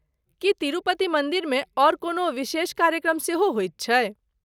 की तिरुपति मन्दिरमे आओर कोनो विशेष कार्यक्रम सेहो होइत छैक?